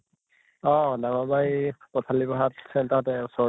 অহ ডাঙৰ বা এই পথালি বাহত center তে ওচৰ